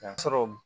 sɔrɔ